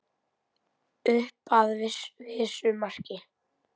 Upp að vissu marki.